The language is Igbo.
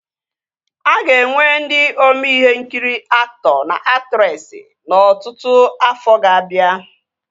A ga-enwe ndị ome ihe nkiri aktọ na aktresị n'ọtụtụ afọ ga-abịa